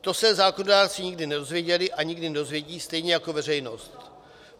To se zákonodárci nikdy nedozvěděli a nikdy nedozvědí, stejně jako veřejnost.